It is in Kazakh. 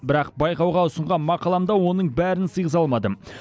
бірақ байқауға ұсынған мақаламда оның бәрін сыйғыза алмадым